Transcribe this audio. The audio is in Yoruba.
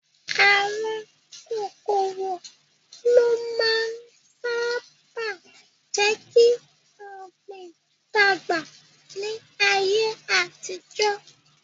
Àwọn kòkòrò ló máa ń sáábà jékí Ògbìn dàgbà ní ayé àtijọ́